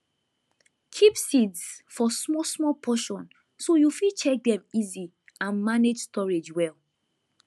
keep seeds for smallsmall portion so you fit check dem easy and manage storage well